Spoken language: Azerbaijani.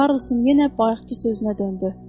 Karlson yenə bayaqkı sözünə döndü.